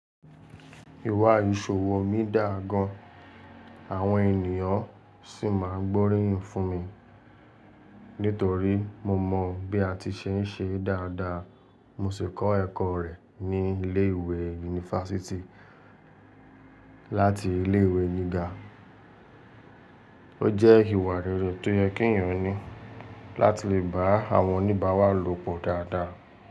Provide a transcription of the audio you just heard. Ìwà ìṣòwò mi dáa gan, àwọn ènìyàn sì máa ń gbóríyìn fún mi. Nítorí mo mọ bí a ti ṣe ń ṣe dáadáa. Mo sì kọ́ ẹ̀kọ́ rẹ̀ ní ilé ìwé yunifásítì láti ilé ìwé gíga. Ó jẹ́ ìwà rere tó yẹ kí èèyàn ní láti lè bá àwọn oníbàárà lò pọ̀ dáadáa.